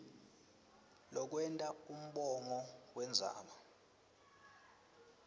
lokwenta umongo wendzaba